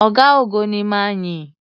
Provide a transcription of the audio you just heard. Ọ̀gá-ogo ni ma yìn.